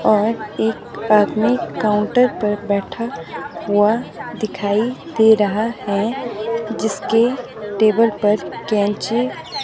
और एक आदमी काउंटर पर बैठा हुआ दिखाई दे रहा है जिसके टेबल पर कैंची--